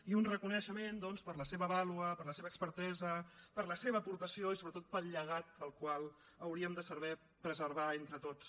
i un reconeixement doncs per la seva vàlua per la seva expertesa per la seva aportació i sobretot pel llegat el qual hauríem de saber preservar entre tots